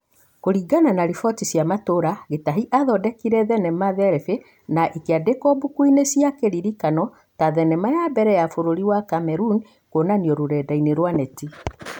Kũringana na ripoti cia matũra, Gĩtahi athondekire thenema Therabĩ na ĩkĩandĩkwo mbukuinĩ cia kĩririkano ta thenema ya mbere ya bũrũri wa Kameruni kuonanio rũrendainĩ rwa Neti.